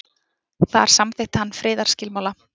Þar samþykkti hann friðarskilmála.